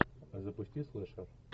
запусти слэшер